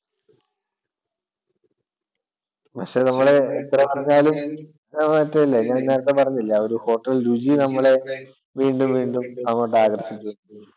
പക്ഷെ നമ്മടെ എത്ര പറഞ്ഞാലും ഞാൻ നേരത്തെ പറഞ്ഞില്ലേ ആ ഒരു hotel രുചി നമ്മളെ വീണ്ടും വീണ്ടും അവിടേക്കു ആകർഷിക്കും.